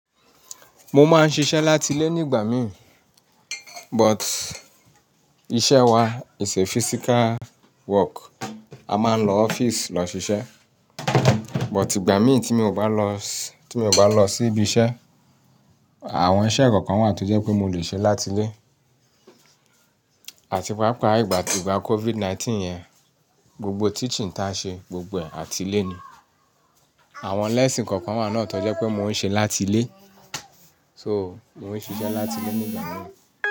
Mo máa ń ṣiṣẹ́ láti ilé nígbà mí, but iṣẹ́ wa is a physical work. A máa ń lọ ọ́fíìsì lọ ṣiṣẹ́. But ìgbà mí tí mi ò bá lọ, tí mi ò bá lọ sí ibi iṣẹ́, àwọn iṣẹ́ kọ̀ọ̀kan wà tó jẹ́ pé mo lè ṣe láti ilé. Àti pàápàá ìgbà to ìgbà COVID-19 yẹn, gbogbo teaching ta ṣe, gbogbo ẹ̀ àti ilé ni. Àwọn lẹ́ẹ̀sìn kọ̀ọ̀kan wà náà tó jẹ́ pé mo ń ṣe láti ilé. So, mo ń ṣiṣẹ́ láti ilé nígbà mí.